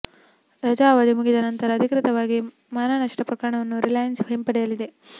ರಜಾ ಅವಧಿ ಮುಗಿದ ನಂತರ ಅಧಿಕೃತವಾಗಿ ಮಾನನಷ್ಟ ಪ್ರಕರಣವನ್ನು ರಿಲಯನ್ಸ್ ಹಿಂಪಡೆಯಲಿದೆ